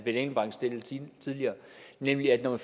engelbrecht stillede tidligere nemlig at når